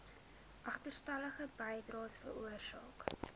agterstallige bydraes veroorsaak